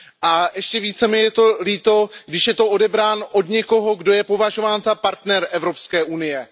A ještě více mi je to líto, když je odebrán od někoho, kdo je považován za partnera Evropské unie.